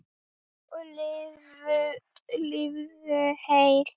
Og lifðu heil!